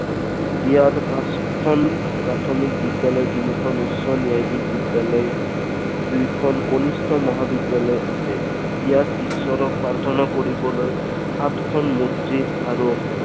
ইয়াত পাঁচখন প্ৰাথমিক বিদ্যালয় তিনিখন উচ্চ ন্যায়াধীশ বিদ্যালয় দুয়োখন কনিষ্ঠ মহাবিদ্যালয় আছে। ইয়াত ইশ্বৰক প্ৰাৰ্থনা কৰিবলৈ সাতখন মছজিদ আৰু